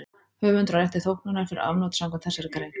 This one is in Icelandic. Höfundur á rétt til þóknunar fyrir afnot samkvæmt þessari grein.